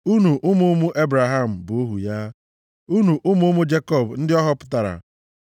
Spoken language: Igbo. unu ụmụ ụmụ Ebraham, bụ ohu ya, unu ụmụ ụmụ Jekọb, ndị ọ họpụtara.